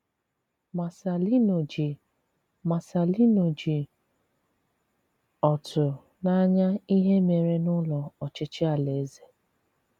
Marcelino ji Marcelino ji ọ̀tụ̀ n’anya ìhè mèrè n’Ụ́lọ̀ Ọchịchị ala-eze.